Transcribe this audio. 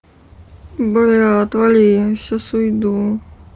бля отвали я им сейчас уйду